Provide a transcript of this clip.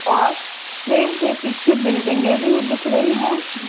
और ट्रेन के पीछे बिल्डिंगें भी दिख रही हैं।